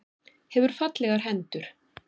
Hefur fallegar hendur.